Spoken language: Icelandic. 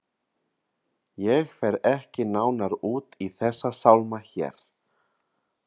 Ég fer ekki nánar út í þessa sálma hér.